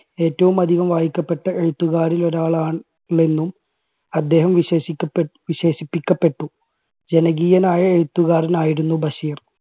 ഏറ്റവും അധികം വായിക്കപ്പെട്ട എഴുത്തുകാരിൽ ഒരാളാ~ണെന്നും അദ്ദേഹം വിശേഷിക്കപ്പെ~വിശേഷിപ്പിക്കപ്പെട്ടു ജനകീയനായ എഴുത്തുകാരനായിരുന്നു ബഷീർ.